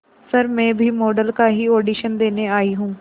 sir मैं भी model का ही ऑडिशन देने आई हूं